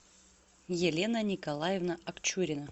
елена николаевна акчурина